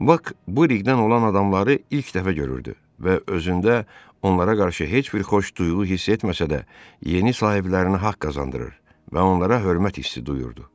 Bak bu ləqbdən olan adamları ilk dəfə görürdü və özündə onlara qarşı heç bir xoş duyğu hiss etməsə də, yeni sahiblərinə haqq qazandırır və onlara hörmət hissi duyurdu.